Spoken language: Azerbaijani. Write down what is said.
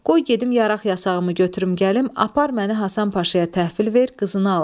Qoy gedim yaraq yasağımı götürüm gəlim, apar məni Həsən Paşaya təhvil ver, qızını al.